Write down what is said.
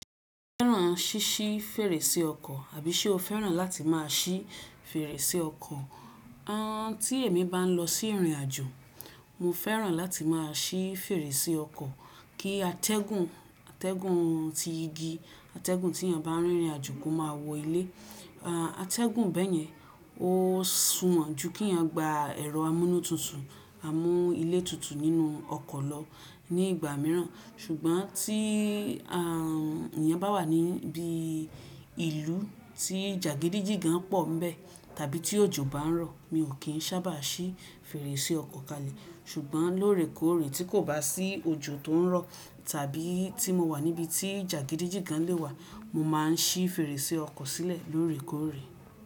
Fẹ́ràn ṣíṣí fèrèsé ọkọ̀ àbí ṣe o fẹ́ràn láti máa ṣí fèrèsé ọkọ̀? Àn tí èmi bá n lọ sí ìrìnàjò, mo fẹ́ràn láti máa ṣí fèrèsé ọkọ̀. Kí atẹ́gùn, atẹ́gùn ti igi, atẹ́gùn tí ènìyàn bá n rìn ìrìnàjò kó máa wọ ilé. A, atẹ́gùn bẹ́ẹ̀yẹn o sùnwọ́n ju kí ènìyàn gba ẹ̀rọ amúnútutù, amú ilé tutù nínú ọkọ̀ lọ ní ìgbà mìíràn. Ṣùgbọ́n tí a, ènìyàn bá wà níbí ìlú tí jàgídíjígan pọ̀ń ńbẹ̀ tàbí tí òjò bá n rọ̀, mi ò kí n sábà ṣí fèrèsé ọkọ̀ kalẹ̀. Ṣùgbọ́n lóòrèkóòrè tí kò bá sí òjò tó n rọ̀ tàbí tí mo wà níbi tí jàgídíjígan lè wà, mo máa n ṣí fèrèsé ọkọ̀ sílẹ̀ lóòrèkóòrè.